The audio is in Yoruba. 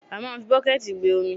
A máà ń fi bọ́kẹ̀ẹ̀tì gbé omi.